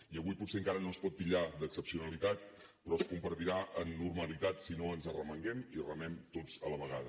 i avui potser encara no es pot titllar d’excepcionalitat però es convertirà en normalitat si no ens arremanguem i remem tots a la vegada